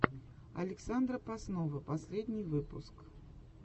александра поснова последний выпуск